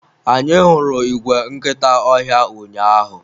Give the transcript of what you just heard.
anyị hụrụ igwe nkịta ọhịa ụnyaahụ